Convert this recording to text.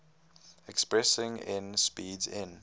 expressing n speeds n